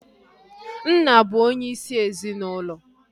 Nna bụ onye isi ezinaụlọ